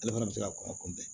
Ale fana bɛ se ka kɔngɔ kunbɛn